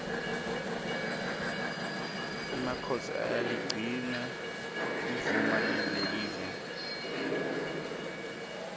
emakhosi ayaligcina limuva lelive